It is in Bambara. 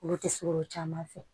Olu tɛ surun caman fɛ